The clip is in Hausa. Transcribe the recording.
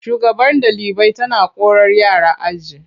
Shugabar ɗalibai tana korar yara aji.